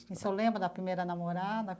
E o senhor lembra da primeira namorada?